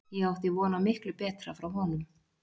Ég átti von á miklu betra frá honum.